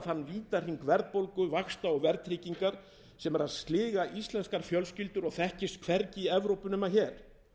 vítahring verðbólgu vaxta og verðtryggingar sem er að sliga íslenskar fjölskyldur og þekkist hvergi í evrópu nema hér